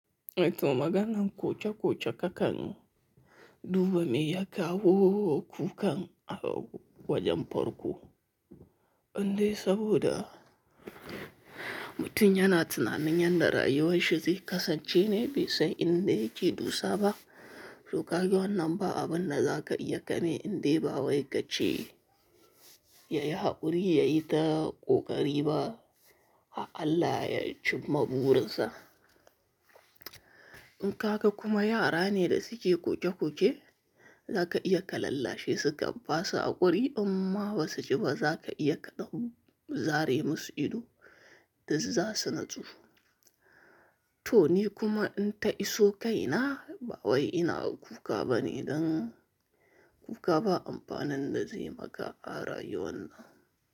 To maganan koke koke kakan duba mai yaka wo kukan a wajen farko. Indai saboda mutum yana tunanin yanda rayuwar shi zai kasance ne baisan inda yake dosa ba. To ka ga wannan ba abun da za ka iya gani indai ba wai ka ce ya yi haƙuri, ya yi ta ƙoƙari ba, har Allah ya cimma burinsa. In ka ga kuma yara ne da suke koke koke, za ka iya ka lallashe su ka ba su haƙuri, unma ba su ji ba za ka iya ka ɗan zare musu ido yanzu za su natsu. To ni kuma in ta iso kaina ba wai ina kuka ba ne don kuka ba amfanin da zai maka a rayuwan nan.